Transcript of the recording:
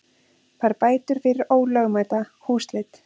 Fær bætur fyrir ólögmæta húsleit